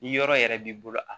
Ni yɔrɔ yɛrɛ b'i bolo a